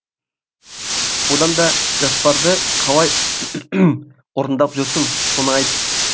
одан да жоспарды қалай орындап жүрсің соны айт